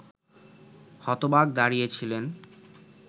হতবাক দাঁড়িয়ে ছিলেন